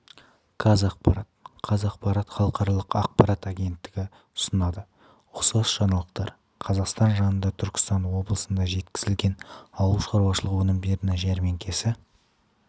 қазақпарат қазақпарат халықаралық ақпарат агенттігі ұсынады ұқсас жаңалықтар қазақстан жанында түркістан облысынан жеткізілген ауылшаруашылығы өнімдерінің жәрмеңкесі